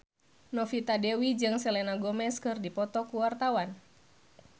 Novita Dewi jeung Selena Gomez keur dipoto ku wartawan